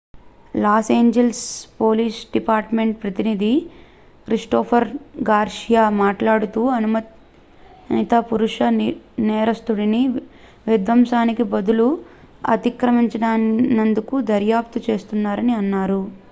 loss Angeles police department ప్రతినిధి Christopher Garcia మాట్లాడుతూ అనుమానిత పురుష నేరస్థుడిని విధ్వంసానికి బదులు అతిక్రమించినందుకు దర్యాప్తు చేస్తున్నారు అని అన్నారు